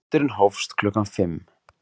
Fundurinn hófst klukkan fimm